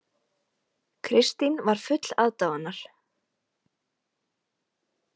Kristín var full aðdáunar.